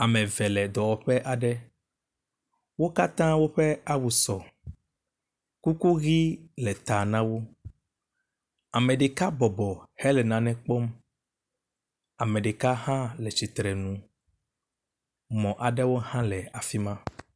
Ame eve le dɔwɔƒe aɖe, wo katã woƒe awu sɔ, kuku ʋi le ta na wo. Ame ɖeka bɔbɔ hele nane kpɔm. Ame ɖeka hã le tsitre nu. Mɔ aɖe hã le afi ma.